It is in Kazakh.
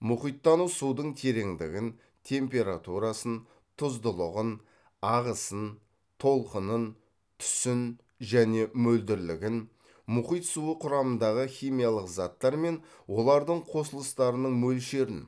мұхиттану судың тереңдігін температурасын тұздылығын ағысын толқынын түсін және мөлдірлігін мұхит суы құрамындағы химиялық заттар мен олардың қосылыстарының мөлшерін